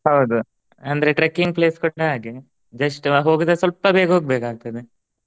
ಹೌದು ಅಂದ್ರೆ trekking place ಕೂಡಾ ಹಾಗೆ just ಹೋಗುದ ಸ್ವಲ್ಪ ಬೇಗ ಹೋಗ್ಬೇಕಾಗ್ತದೆ.